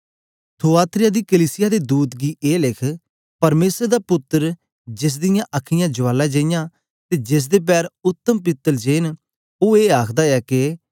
Thyatira दी कलीसिया दे दूत गी ए लिख परमेसर दा पुत्तर जेस दियां अखां ज्वाला जेईयां ते जेसदे पैर उत्तम पीतल जे न ओ ए आखदा ऐ के